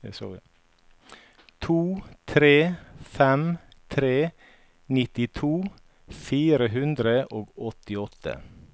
to tre fem tre nittito fire hundre og åttiåtte